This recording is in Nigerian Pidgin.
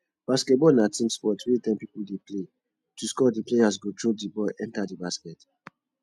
basketball na team sport wey ten pipo dey play to score di players go throw di ball enter di basket